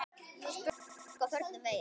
Spurði fólk á förnum vegi.